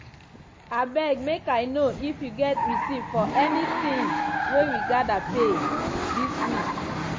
abeg make i know if you get receipt for any ting wey we gather pay this week.